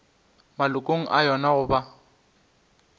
malokong a yona go ba